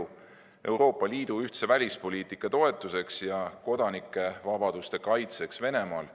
Tegu on avaldusega Euroopa Liidu ühtse välispoliitika toetuseks ja kodanikuvabaduste kaitseks Venemaal.